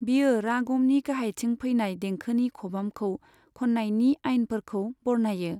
बेयो रागमनि गाहायथिं फैनाय देंखोनि खबामखौ खननायनि आइनफोरखौ बरनायो।